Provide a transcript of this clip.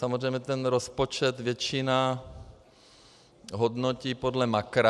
Samozřejmě ten rozpočet většina hodnotí podle makra.